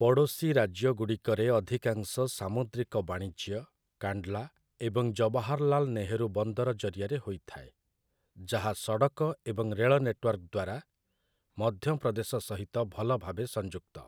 ପଡ଼ୋଶୀ ରାଜ୍ୟଗୁଡ଼ିକରେ ଅଧିକାଂଶ ସାମୁଦ୍ରିକ ବାଣିଜ୍ୟ କାଣ୍ଡ୍‌ଲା ଏବଂ ଜବାହାରଲାଲ୍ ନେହେରୁ ବନ୍ଦର ଜରିଆରେ ହୋଇଥାଏ, ଯାହା ସଡ଼କ ଏବଂ ରେଳ ନେଟୱାର୍କ ଦ୍ୱାରା ମଧ୍ୟପ୍ରଦେଶ ସହିତ ଭଲ ଭାବେ ସଂଯୁକ୍ତ ।